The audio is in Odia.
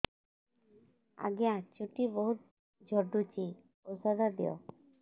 ଆଜ୍ଞା ଚୁଟି ବହୁତ୍ ଝଡୁଚି ଔଷଧ ଦିଅ